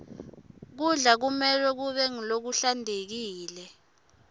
kudla kumelwe kube ngulokuhlantekile